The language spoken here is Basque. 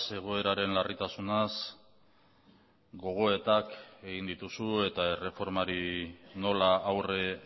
egoeraren larritasunaz gogoetak egin dituzu eta erreformari nola aurre